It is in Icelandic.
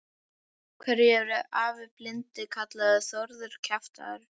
Af hverju er afi blindi kallaður Þórður kjaftur?